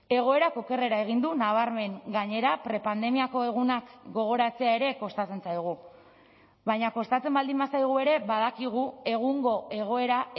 egoerak okerrera egin du nabarmen gainera prepandemiako egunak gogoratzea ere kostatzen zaigu baina kostatzen baldin bazaigu ere badakigu egungo egoera